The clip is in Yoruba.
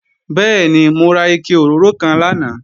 Bẹ́ẹ̀ni, mo ra ike òróró kan lánàá